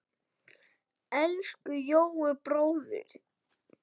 Elsku Jói bróðir.